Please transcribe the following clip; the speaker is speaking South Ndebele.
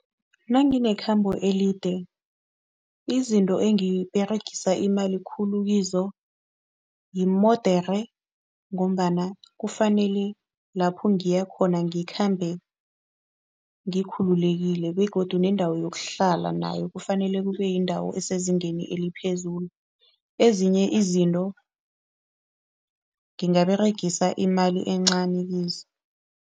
Nanginekhambo elide izinto engiberegisa imali khulu kizo yimodere ngombana kufanele lapho ngiyakhona ngikhambe ngikhululekile begodu nendawo yokuhlala nayo kufanele kube yindawo esezingeni eliphezulu. Ezinye izinto ngingaberegisi imali encani kizo.